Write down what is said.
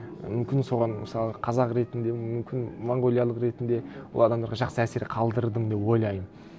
мүмкін соған мысалы қазақ ретінде мүмкін монғолиялық ретінде ол адамдарға жақсы әсер қалдырдым деп ойлаймын